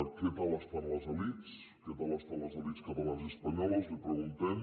què tal estan les elits què tal estan les elits catalanes i espanyoles li preguntem